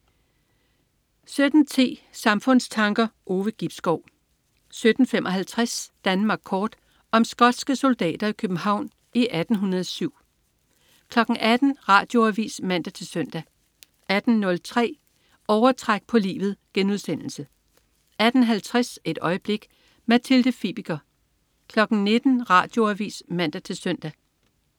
17.10 Samfundstanker. Ove Gibskov 17.55 Danmark Kort. Om skotske soldater i København i 1807 18.00 Radioavis (man-søn) 18.03 Overtræk på livet* 18.50 Et øjeblik. Mathilde Fibiger 19.00 Radioavis (man-søn)